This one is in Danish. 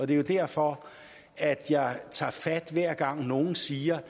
det er jo derfor jeg tager fat hver gang nogen siger